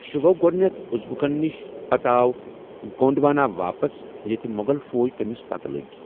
سُہ گوٚو گۄڈٕنیتھ ازبکن نِش، پتہٕ آو گونڈوانا واپس یتہٕ مغل فوج تٔمِس پَتہٕ لٔگۍ۔